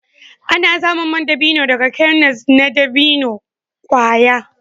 Ana samun man dabino daga kernels na dabino kwaya.